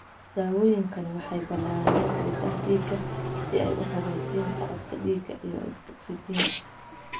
Daawooyinkani waxay ballaariyaan xididdada dhiigga si ay u hagaajiyaan socodka dhiigga iyo ogsijiinta.